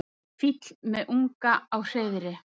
Fýll með unga á hreiðri.